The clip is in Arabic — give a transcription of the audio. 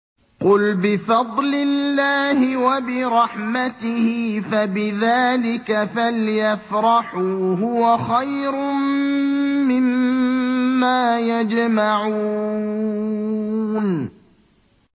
قُلْ بِفَضْلِ اللَّهِ وَبِرَحْمَتِهِ فَبِذَٰلِكَ فَلْيَفْرَحُوا هُوَ خَيْرٌ مِّمَّا يَجْمَعُونَ